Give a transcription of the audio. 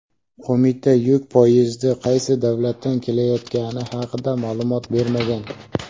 Qo‘mita yuk poyezdi qaysi davlatdan kelayotgani haqida ma’lumot bermagan.